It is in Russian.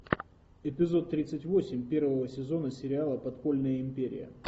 эпизод тридцать восемь первого сезона сериала подпольная империя